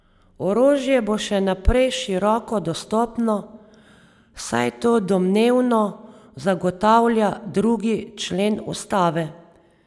Orožje bo še naprej široko dostopno, saj to domnevno zagotavlja drugi člen ustave.